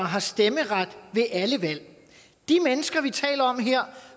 har stemmeret ved alle valg de mennesker vi taler om her